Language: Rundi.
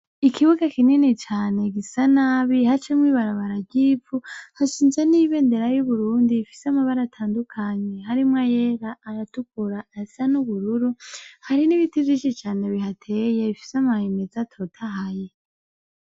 Ikibuga kinini cane gisa nabi hacamwo ibarabara ry'ivu hashinze n'ibendera y'Uburundi ifise amabara atandukanye harimwo ayera, ayatukura, ayasa n'ubururu. Hari n'ibiti vyishi cane bihateye bifise amababi meza atotahaye.